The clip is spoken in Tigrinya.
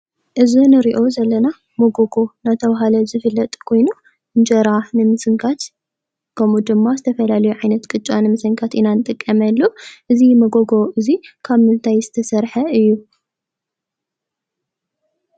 እዚ ንሪኦ ዘለና መጎጎ እናተባሃለ ዝፍለጥ ኮይኑ እንጀራ ንምስንካት ከምኡ ድማ ዝተፈላለዩ ዓይነት ቅጫ ንምስንካት ኢና ንጥቀመሉ። እዚ መጎጎ እዚ ካብ ምንታይ ዝተሰርሐ እዩ?